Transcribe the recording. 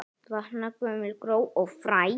Vakna gömul gró og fræ.